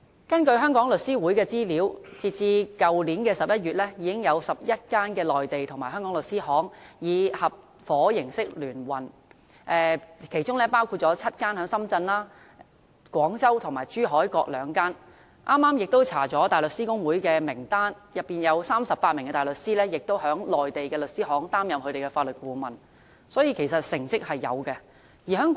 根據香港律師會的資料，截至去年11月已經有11間內地和香港律師行以合夥形式聯運，其中深圳有7間，廣州和珠海各2間；我剛剛亦翻查了大律師公會的名單，當中有38名大律師在內地的律師行擔任法律顧問，所以，其實是有成績的。